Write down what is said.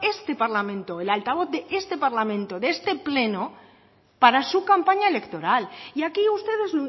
este parlamento el altavoz de este parlamento de este pleno para su campaña electoral y aquí ustedes